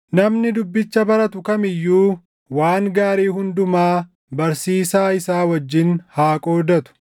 Namni dubbicha baratu kam iyyuu waan gaarii hundumaa barsiisaa isaa wajjin haa qoodatu.